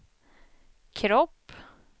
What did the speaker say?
kropp